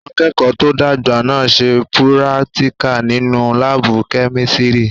Àwọn akẹ́kọ̀ọ́ tó àgbà náà n ṣe púrátíkà nínu láàbù-kẹ́mísírì